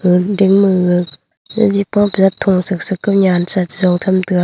ngoi ding ma ga jigi pawdat tho sak sak nyan sa che so tham taega.